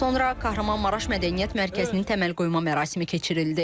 Sonra Kahramanmaraş Mədəniyyət Mərkəzinin təməlqoyma mərasimi keçirildi.